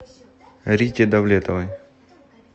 рите давлетовой